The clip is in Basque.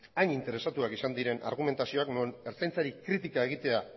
hain interesatuak izan diren argumentazioak non ertzantzari kritika egitea